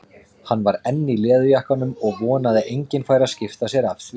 Hann var enn í leðurjakkanum og vonaði að enginn færi að skipta sér af því.